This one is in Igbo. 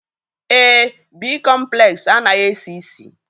Èé, bịkọmplesi anaghị esi ísì.